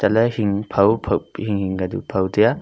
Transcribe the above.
alah e hing phaw pi hing-hing kadu phaw taiya.